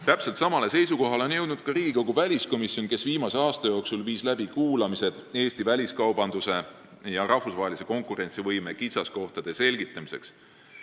Täpselt samale seisukohale on jõudnud ka Riigikogu väliskomisjon, kes viis viimase aasta jooksul läbi kuulamised Eesti väliskaubanduse ja rahvusvahelise konkurentsivõime kitsaskohtade selgitamiseks.